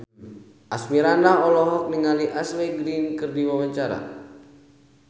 Asmirandah olohok ningali Ashley Greene keur diwawancara